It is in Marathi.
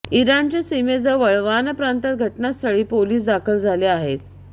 इराणच्या सिमेजवळ वान प्रांतात घटनास्थळी पोलीस दाखल झाले आहेत